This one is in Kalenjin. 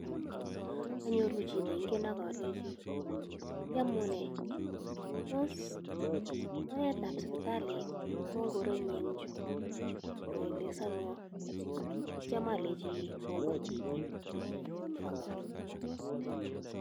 Anyoru chi neingen ak olenji "Iamunee? Tos oretab sipitali ko ainon en chu?" koelesanwon ak kityo alenji "kongoi" ak awe kounon.